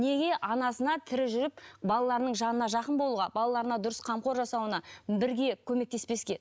неге анасына тірі жүріп балаларының жанына жақын болуға балаларына дұрыс қамқор жасауына бірге көмектеспеске